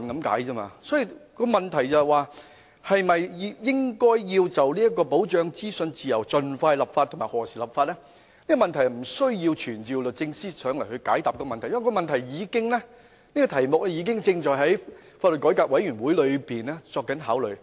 因此，現時的問題在於應否就保障資訊自由盡快立法及何時立法，而這問題是無須傳召律政司司長來解答的，因為此事已交由法改會考慮。